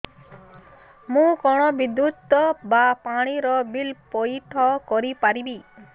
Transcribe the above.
ମୁ କଣ ବିଦ୍ୟୁତ ବା ପାଣି ର ବିଲ ପଇଠ କରି ପାରିବି